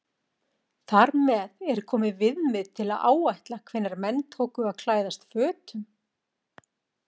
Þar með er komið viðmið til að áætla hvenær menn tóku að klæðast fötum.